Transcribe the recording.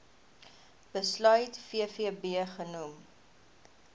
besluit vvb genoem